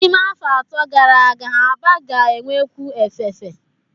N'ime afọ atọ gara aga, Aba ga-enwekwu efefe.